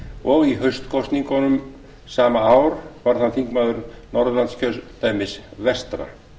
og í haustkosningunum sama ár varð hann þingmaður norðurlandskjördæmis vestra